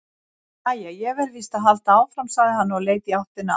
Jæja, ég verð víst að halda áfram, sagði hann og leit í áttina að